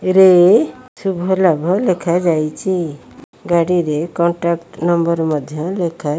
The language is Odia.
ରେ ଶୁଭ ଲାଭ ଲେଖାଯାଇଛି ଗାଡ଼ିରେ କଣ୍ଟାକ୍ଟ ନମ୍ବର ମଧ୍ଯ ଲେଖା